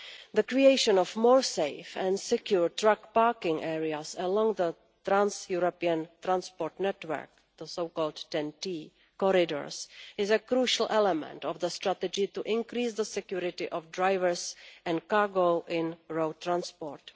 The creation of safer and more secure truck parking areas along the trans European transport network, the so called TEN T corridors, is a crucial element of the strategy to increase the security of drivers and cargo in road transport.